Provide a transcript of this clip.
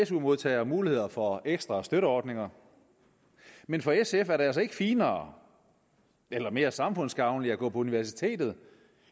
su modtagere mulighed for ekstra støtteordninger men for sf er det altså ikke finere eller mere samfundsgavnligt at gå på universitetet